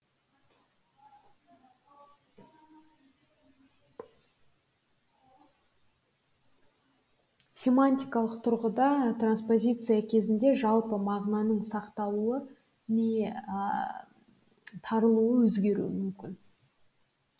семантикалық тұрғыда транспозиция кезінде жалпы мағынаның сақталуы не тарылуы өзгеруі мүмкін